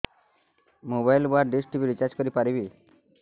mobile ବା dish TV recharge କରି ପାରିବି